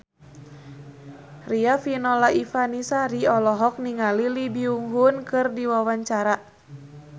Riafinola Ifani Sari olohok ningali Lee Byung Hun keur diwawancara